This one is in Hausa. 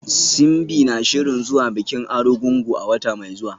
Simbi na shirin zuwa bikin Arugungu a wata mai zuwa.